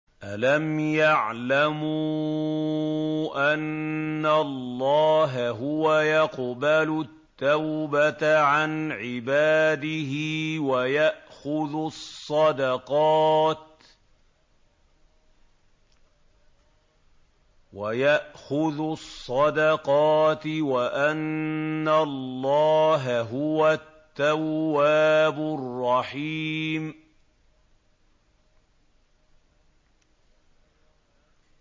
أَلَمْ يَعْلَمُوا أَنَّ اللَّهَ هُوَ يَقْبَلُ التَّوْبَةَ عَنْ عِبَادِهِ وَيَأْخُذُ الصَّدَقَاتِ وَأَنَّ اللَّهَ هُوَ التَّوَّابُ الرَّحِيمُ